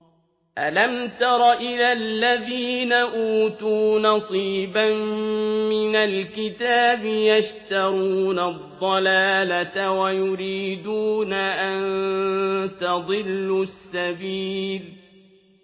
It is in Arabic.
أَلَمْ تَرَ إِلَى الَّذِينَ أُوتُوا نَصِيبًا مِّنَ الْكِتَابِ يَشْتَرُونَ الضَّلَالَةَ وَيُرِيدُونَ أَن تَضِلُّوا السَّبِيلَ